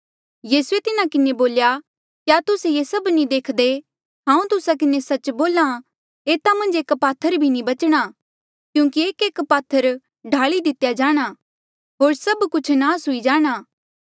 यीसूए तिन्हा किन्हें बोल्या क्या तुस्से ये सभ नी देखदे हांऊँ तुस्सा किन्हें सच्च बोल्हा एता मन्झ एक पात्थर भी नी बचणा क्यूंकि एकएक पात्थर ढाली दितेया जाणा होर सभ कुछ नास हुई जाणा